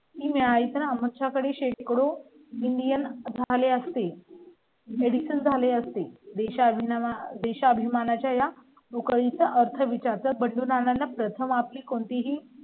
मिळत नाही. साधी मिळाली तर आमच्याकडे शेती करू indian झाले असते. medicine झाले असेल देशा विना वा देशाभिमानाच्या बुखारी चा अर्थ विचार तात बंडू नाना प्रथम आपली कोणतीही